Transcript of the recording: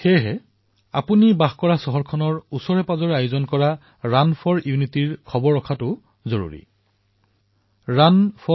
সেইবাবে আপুনি যি চহৰতেই নাথাকক কিয় নিকটৱৰ্তী ৰাণ ফৰ ইউনিটীৰ বিষয়ে সন্ধান কৰিব পাৰে